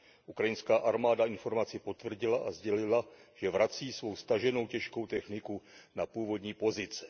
Ukrajinská armáda informaci potvrdila a sdělila, že vrací svou staženou těžkou techniku na původní pozice.